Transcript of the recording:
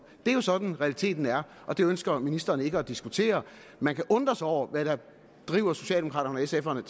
det er sådan realiteten er og det ønsker ministeren ikke at diskutere man kan undre sig over hvad der driver socialdemokraterne og